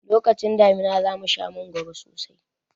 Lokacin damina za mu sha mangoro sosai.